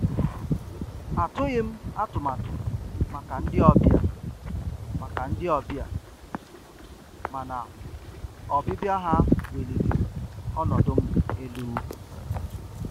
Atụghị m atụmatụ maka ndị ọbịa, maka ndị ọbịa, mana ọbịbịa ha weliri ọnọdụ m elu.